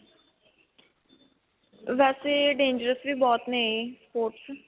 ਵੈਸੇ dangerous ਵੀ ਬਹੁਤ ਨੇ ਇਹ sports.